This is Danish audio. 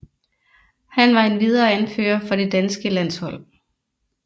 Han var endvidere anfører for det danske landshold